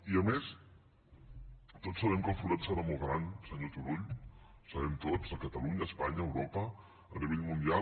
i a més tots sabem que el forat serà molt gran senyor turull ho sabem tots a catalunya a espanya a eu·ropa a nivell mundial